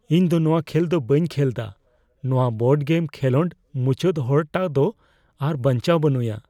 ᱤᱧ ᱫᱚ ᱱᱚᱣᱟ ᱠᱷᱮᱞ ᱵᱟᱹᱧ ᱠᱷᱮᱞᱮᱫᱟ ᱾ ᱱᱚᱣᱟ ᱵᱳᱨᱰ ᱜᱮᱢ ᱠᱷᱮᱞᱳᱰ ᱢᱩᱪᱟᱹᱫ ᱦᱚᱲᱴᱟᱜ ᱫᱚ ᱟᱨ ᱵᱟᱧᱪᱟᱣ ᱵᱟᱹᱱᱩᱭᱟ ᱾